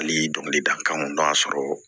Hali dɔnkili dakanw y'a sɔrɔ